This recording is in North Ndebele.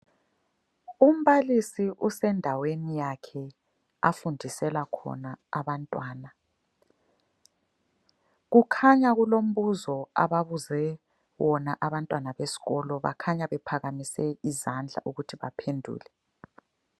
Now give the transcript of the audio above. Umbalisi usendaweni yakhe afundisela khona abantwana. Kukhanya kulombuzo ababuze wona abantwana besikolo bakhanya bephakamise izandla ukuthi baphendule.